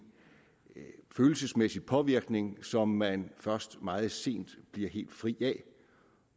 følelsesmæssig påvirkning som man først meget sent bliver helt fri af